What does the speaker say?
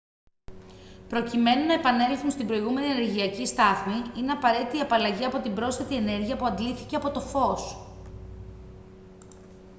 προκειμένου να επανέλθουν στην προηγούμενη ενεργειακή στάθμη είναι απαραίτητη η απαλλαγή από την πρόσθετη ενέργεια που αντλήθηκε από το φως